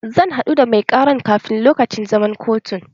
Zan haɗu da mai ƙaran kafin lokacin zaman kotun